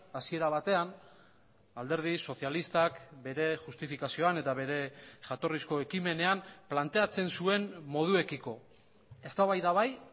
hasiera batean alderdi sozialistak bere justifikazioan eta bere jatorrizko ekimenean planteatzen zuen moduekiko eztabaida bai